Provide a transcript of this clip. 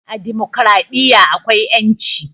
A dimokuraɗiyya akwai ƴanci